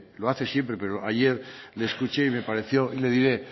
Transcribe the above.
lo hace siempre pero ayer le escuché y me pareció y le diré